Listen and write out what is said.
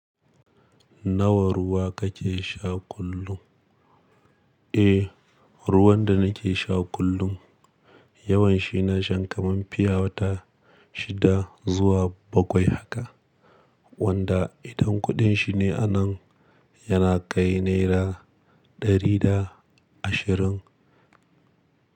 Nawa ruwa kake sha kullum? Eh, ruwan da nake sha kullum yawanshi na sha kaman fiyawata shida zuwa bakwai haka. Wanda idan kuɗin shi ne anan yana kai naira dari da ashirin.